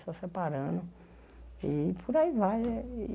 Só separando e por aí vai. eh e